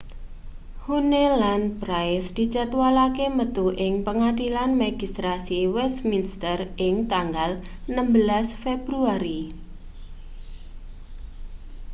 huhne lan pryce dijadwalake metu ing pengadilan magistrasi wesminster ing tanggal 16 februari